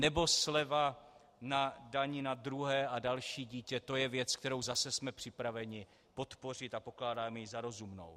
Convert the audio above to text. Nebo sleva na dani na druhé a další dítě, to je věc, kterou zase jsme připraveni podpořit a pokládáme ji za rozumnou.